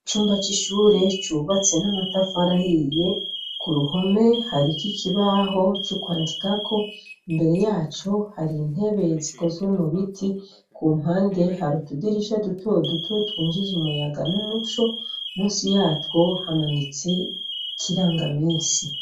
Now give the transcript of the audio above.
Icumba cishure cubatse namatafari ahiye kuruhome harikwikibaho cukwandikako imbere yaco harintebe zikozwe mubiti kumpande hari utudirisha dutoduto twinjiza umuyaga numuco munsi yatwo hamanitse ikiranga minsi